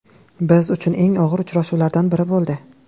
Biz uchun eng og‘ir uchrashuvlardan biri bo‘ldi.